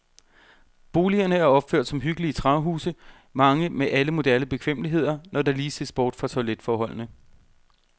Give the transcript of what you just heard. Boligerne er opført som hyggelige træhuse, mange med alle moderne bekvemmeligheder, når der lige ses bort fra toiletforholdene.